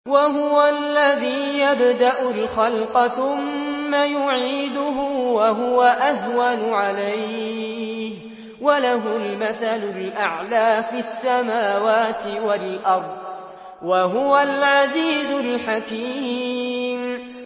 وَهُوَ الَّذِي يَبْدَأُ الْخَلْقَ ثُمَّ يُعِيدُهُ وَهُوَ أَهْوَنُ عَلَيْهِ ۚ وَلَهُ الْمَثَلُ الْأَعْلَىٰ فِي السَّمَاوَاتِ وَالْأَرْضِ ۚ وَهُوَ الْعَزِيزُ الْحَكِيمُ